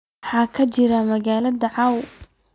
maxaa ka jira magaalada caawa